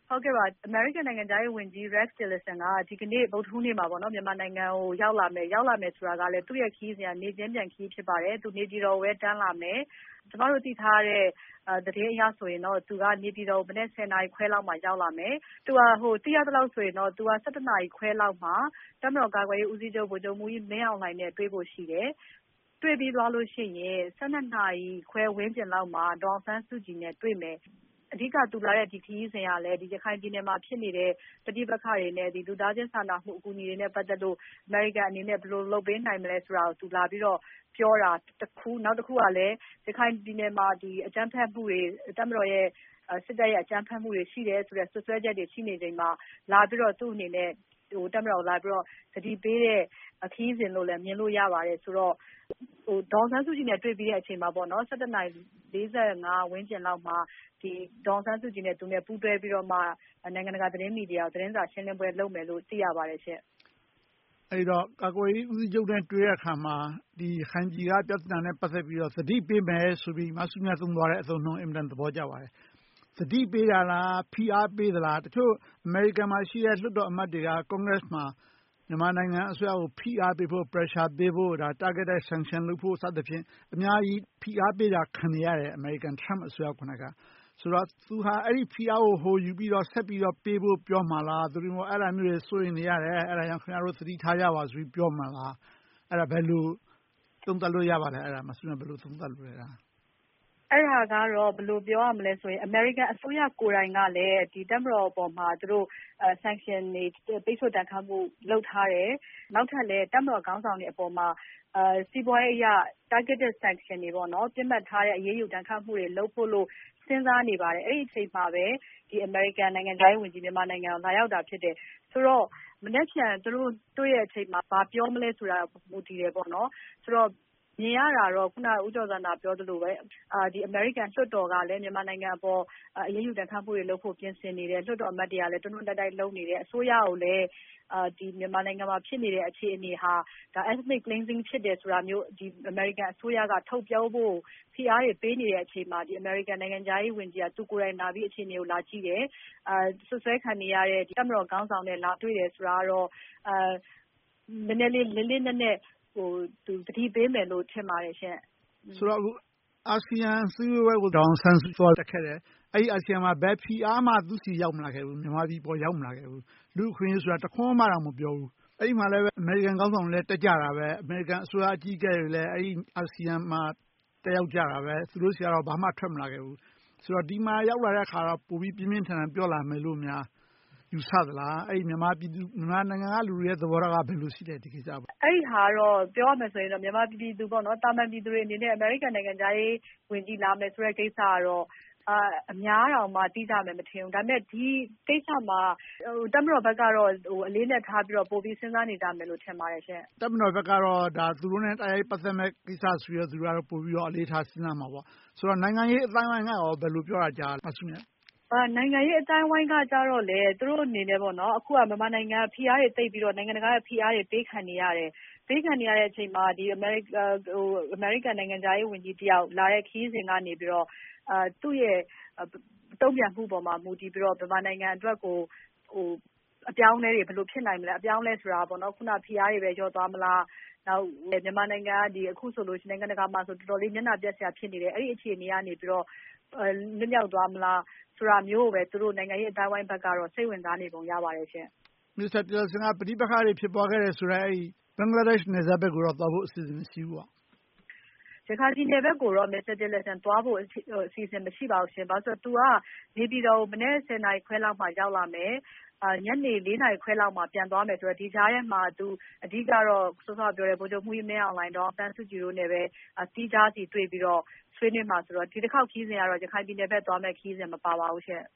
ဟုတ်ကဲ့ပါ။ အမေရိကန် နိုင်ငံခြားရေး ဝန်ကြီး Rex Tillerson က ဒီကနေ့ မြန်မာနိုင်ငံကို ရောက်လာမယ်။ ရောက်လာမယ် ဆိုတာကလည်း သူ့ရဲ့ ခရီးစဉ်က နေ့ချင်းပြန် ခရီးစဉ် ဖြစ်ပါတယ်။ သူနေပြည်တော်ကိုဘဲ တန်းလာမယ်။ ကျမတို့ သိထားတဲ့ သတင်းအရ ဆိုရင်တော့ သူက နေပြည်တော်ကို မနက် ၁၀ နာရီခွဲလောက်မှာ ရောက်လာမယ်။ သိရသလောက် ဆိုရင်တော့ သူက ၁၁ နာရီခွဲလောက်မှာ တပ်မတော် ကာကွယ်ရေး ဦးစီးချုပ် ဗိုလ်ချုပ်မှူးကြီး မင်းအောင်လှိုင်နဲ့ တွေ့ဖို့ ရှိတယ်။ တွေ့ပြီးသွားလို့ ရှိရင် ၁၂ နာရီခွဲ ဝန်းကျင်လောက်မှာ ဒေါ်အောင်ဆန်းစုကြည်နဲ့ တွေ့မယ်။ အဓိက သူလာတဲ့ ခရီးစဉ်ကလည်း ဒီ ရခိုင်ပြည်နယ်မှာ ဖြစ်နေတဲ့ ပဋိပက္ခတွေနဲ့ လူသားချင်းစာနာ အကူအညီတွေနဲ့ ပတ်သက်လို့ အမေရိကန် အနေနဲ့ ဘယ်လို လုပ်ပေးနိုင်မလဲ ဆိုတာကို သူလာပြီးတော့ ပြောတာ တခု။ နောက်တခုကလည်း ရခိုင်ပြည်နယ်မှာ ဒီ အကြမ်းဖက်မှုတွေ တပ်မတော်ရဲ့ စစ်တပ်ရဲ့ အကြမ်းဖက်မှုတွေ ရှိတယ်ဆိုတဲ့ စွပ်စွဲချက်တွေ ရှိနေချိန်မှာ လာပြီးတော့ သူ့အနေနဲ့ တပ်မတော်ကို လာပြီးတော့ သတိပေးတဲ့ ခရီးစဉ်လို့လည်း မြင်လို့ ရပါတယ်။ ဆိုတော့ ဒေါ်အောင်ဆန်းစုကြည်နဲ့ တွေ့ပြီးတဲ့ အချိန်မှာပေါ့နော် ၁၁ နာရီ ၄၅ ဝန်းကျင်လောက်မှာ ဒေါ်အောင်ဆန်းစုကြည်နဲ့ သူနဲ့ ပူးတွဲပြီးတော့မှ နိုင်ငံတကာ သတင်းမီဒီယာကို သတင်းစာရှင်းလင်းပွဲ လုပ်မယ်လို့ သိရပါတယ်ရှင့်။ အဲဒီတော့ ကာကွယ်ရေး ဦးစီးချုပ်နဲ့ တွေ့တဲ့ အခါမှာ ဒီရခိုင်ပြည်နယ်က ပြသနာနဲ့ ပတ်သက်ပြီးတော့ သတိပေးမယ် ဆိုပြီး မစုမြတ်မွန် သုံးသွားတဲ့ အသုံးအနှုန်း အင်မတန် သဘောကျပါတယ်။ သတိပေးတာလား ဖိအားပေးတာလား တချို့ အမေရိကန်မှာ ရှိတဲ့ လွှတ်တော် အမတ်တွေက ကွန်ဂရက်စ်မှာ မြန်မာနိုင်ငံ အစိုးရကို ဖိအားပေးဖို့ Pressure ပေးဖို့၊ ဒါ Targeted Sanction လုပ်ဖို့ စသဖြင့် အများကြီး ဖိအားပေးတာ ခံနေရတယ်။ အမေရိကန် Trump အစိုးရကိုယ်တိုင်က။ ဆိုတော့ သူဟာ အဲဒီဖိအားကို ဟိုယူပြီး ဆက်ပြီးတော့ ပေးဖို့ ပြောမှာလား။ သို့တည်းမဟုတ် အဲဒါမျိုးတွေ စိုးရိမ်နေရတယ်။ အဲဒါကြောင့် အဲဒါမျိုးတွေ သထိထားကြဆိုပြီး ပြောမှာလား။ အဲဒါ ဘယ်လို သုံးသပ်လို့ ရပါလဲ။ အဲဒါ မစုမြတ်မွန် ဘယ်လို သုံးသပ်လိုလဲ။ အဲဒါကတော့ ဘယ်လို ပြောရမလဲ ဆိုတော့ အမေရိကန် အစိုးရ ကိုယ်တိုင် ကလည်း တပ်မတော်ပေါ်မှာ သူတို့ Sanction တွေ ပိတ်ဆို့ ဒဏ်ခတ်မှု လုပ်ထားတယ်။ နောက်ထပ်လည်း တပ်မတော် ခေါင်းဆောင်တွေ အပေါ်မှာ စီးပွားရေး အရ Targeted Sanction တွေ ပေါ့နော်။ ပစ်မှတ်ထားတဲ့အရေးယူ ဒဏ်ခတ်မှုတွေ လုပ်ဖို့လို့ စဉ်းစားနေပါတယ်။ အဲဒီအချိန်မှာဘဲ အမေရိကန် နိုင်ငံခြားရေး ဝန်ကြီး မြန်မာနိုင်ငံကို လာရောက်တာ ဖြစ်တယ်။ ဆိုတော့ မနက်ဖြန် သူတို့ တွေ့တဲ့အချိန်မှာ ဘာပြောမလဲ ဆိုတာ အပေါ် မူတည်တယ် ပေါ့နော်။ ဆိုတော့ မြင်ရတာတော့ ခုန ဦးကျော်ဇံသာ ပြောသလိုဘဲ အမေရိကန် လွှတ်တော်ကလည်း မြန်မာနိုင်ငံ အပေါ် အရေးယူဒဏ်ခတ်မှုတွေ လုပ်ဖို့ ပြင်ဆင်နေတယ်။ လွှတ်တော် အမတ်တွေက တွန်းတွန်းတိုက်တိုက် လုပ်နေတယ်။ အစိုးရကိုလည်း ဒီ မြန်မာနိုင်ငံမှာ ဖြစ်နေတဲ့အခြေအနေဟာ Ethnic Cleansing ဖြစ်တယ် ဆိုတာမျိုး အမေရိကန် အစိုးရက ထုတ်ပြောဖို့ ဖိအားတွေ ပေးနေတဲ့အချိန်မှာ အမေရိကန် နိုင်ငံခြားရေး ဝန်ကြီးက သူကိုယ်တိုင် အခြေအနေကို လာကြည့်တယ်။ စွပ်စွဲခံရတဲ့ တပ်မတော် ခေါင်းဆောင်နဲ့ လာတွေ့တယ်ဆိုတာကတော့ နည်းနည်းလေး လေးလေးနက်နက် သူ သတိပေးမယ်လို့ ထင်ပါတယ်ရှင့်။ ဆိုတော့ အာဆီယံ အစည်းအဝေးကို ဒေါ်အောင်ဆန်းစုကြည် သွားတက်ခဲ့တယ်။ အဲဒီ အာဆီယံမှာ ဘယ်ဖိအားမှ သူ့ဆီ ရောက်မလာခဲ့ဘူး။ မြန်မာပြည် အပေါ် ရောက်မလာခဲ့ဘူး။ လူ့အခွင့်အရေး ဆိုတာ တခွန်းမှတောင် မပြောဘူး။ အဲဒီမှာလည်း အမေရိကန် ခေါင်းဆောင်တွေလည်း တက်ကြတာဘဲ။ အမေရိကန် အစိုးရ အကြီးအကဲတွေလည်း အဲဒီ အာဆီယံမှာ တက်ရောက်ကြတာဘဲ။ သူတို့ဆီကတော့ ဘာမှ ထွက်မလာခဲ့ဘူး။ ဆိုတော့ ဒီမှာရောက်လာတဲ့ အခါမှာ ပိုပြီး ပြင်းပြင်းထန်ထန်များ ပြောလာမယ်လို့များ ယူဆသလား။ အဲဒီ မြန်မာပြည်သူ မြန်မာနိုင်ငံက လူတွေရဲ့ သဘောထားက ဘယ်လိုရှိလဲ။ ဒီကိစ္စအပေါ်။ ပြောရမယ် ဆိုရင်ပေါ့နော်။ မြန်မာ ပြည်သူ သာမန် ပြည်သူတွေ အနေနဲ့ အမေရိကန် နိုင်ငံခြားရေး ဝန်ကြီး လာမယ့် ကိစ္စကတော့ အများတောင်မှ သိကြမယ် မထင်ဘူး။ ဒါပေမယ့် ဒီကိစ္စမှာ တပ်မတော်ဘက်ကတော့ ဟို အလေးအနက်ထားပြီး စဉ်းစားနေကြမယ်လို့ ထင်ပါတယ်ရှင့်။ တပ်မတော်ဘက်ကတော့ ဒါက သူတို့နဲ့ တိုက်ရိုက် ပတ်သက်မယ့် ကိစ္စ ဆိုပြီးတော့ ပိုပြီးတော့ အလေးထား စဉ်းစားမှာပေါ့။ ဆိုတော့ နိုင်ငံရေး အသိုင်းအဝိုင်းကရော ဘယ်လို ပြောတာကြားလဲ မစုမြတ်။ နိုင်ငံရေး အသိုင်းအဝိုင်းက ကျတော့လည်း သူတို့ အနေနဲ့ပေါ့နော် အခု မြန်မာနိုင်ငံက ဖိအားတွေ သိပ်ပြီးတော့ နိုင်ငံတကာက ဖိအားတွေ ပေးခံနေရတယ်။ ပေးခံနေရတဲ့ အချိန်မှာ ဒီ အမေရိကန် နိုင်ငံခြားရေး ဝန်ကြီး တယောက် လာတဲ့ခရီးစဉ်ကနေပြီးတော့ သူ့ရဲ့ တုံ့ပြန်မှု အပေါ်မှာ မူတည်ပြီးတော့ မြန်မာနိုင်ငံ အတွက်ကို အပြောင်းအလဲတွေ ဘယ်လို ဖြစ်နိုင်မလဲ။ အပြောင်းအလဲ ဆိုတာပေါ့နော် ခုန ဖိအားတွေဘဲ လျော့သွားမလား။ နောက် မြန်မာနိုင်ငံ အခု ဆိုလို့ရှိရင် နိုင်ငံတကာမှာ အတော်လေး မျက်နှာပျက်စရာ ဖြစ်နေတယ်။ အဲဒီ အခြေအနေကနေပြီးတော့ လွတ်မြောက်သွားမလား ဆိုတာမျိုးကိုဘဲ သူတို့ နိုင်ငံရေး အသိုင်းအဝိုင်း ဘက်ကတော့ စိတ်ဝင်စားနေပုံ ရပါတယ်ရှင့်။ မစ္စတာ Tillerson က ပဋိပက္ခ ဖြစ်ပွားခဲ့တယ်ဆိုတဲ့ ဘင်္ဂလားဒေရှ့် နယ်စပ်ဘက်ကို သွားဖို့အစီအစဉ်တော့ မရှိဘူးပေါ့။ ရခိုင်ပြည်နယ်ဘက်ကိုတော့ မစ္စတာ Tillerson သွားဖို့ အစီအစဉ် မရှိပါဘူးရှင့်။ ဘာလို့လဲ ဆိုတော့ သူက နေပြည်တော်ကို မနက် ၁၀ နာရီခွဲလောက်မှာ ရောက်လာမယ်။ ညနေ ၄ နာရီခွဲလောက်မှာ ပြန်သွားမယ်ဆိုတော့ ဒီကြားထဲမှာ အဓိကတော့ စောစောက ပြောတဲ့ ဗိုလ်ချုပ်မှူးကြီး မင်းအောင်လှိုင်၊ ဒေါ်အောင်ဆန်းစုကြည်တို့နဲ့ သီးခြားစီ တွေ့ပြီးတော့ ဆွေးနွေးမှာ ဆိုတော့ ဒီတခေါက် ခရီးစဉ်က ရခိုင်ပြည်နယ်ဘက် သွားမယ့် ခရီးစဉ် မပါပါဘူးရှင့်